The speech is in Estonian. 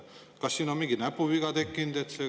Kas siin on mingi näpuviga tekkinud?